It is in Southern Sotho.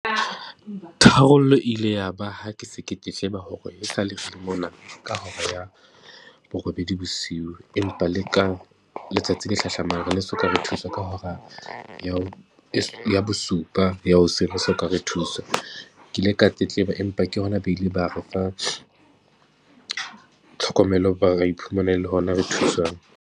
Tharollo e ile ya ba ha ke se ke sheba hore e sa le re mmona ka hora ya borobedi bosiu, empa le ka letsatsi le hlahlamang soka re thuswa ka hora ya, ya bosupa ya hoseng so ka re thuswa. Ke ile ka tletleba, empa ke hona, ba ile ba re fa tlhokomelo, ra iphumana e le hona re thuswang.